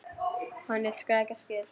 Hét hún Skrækja Skyr?